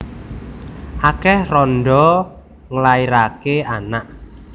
Akeh randha nglairake anak